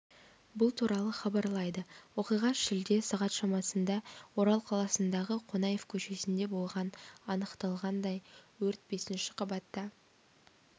бұл туралы хабарлайды оқиға шілде сағат шамасында орал қаласындағы қонаев көшесінде болған анықталғандай өрт бесінші қабатта